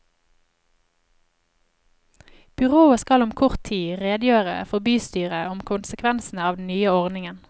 Byrådet skal om kort tid redegjøre for bystyret om konsekvensene av den nye ordningen.